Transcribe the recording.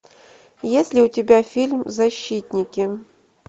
есть ли у тебя фильм защитники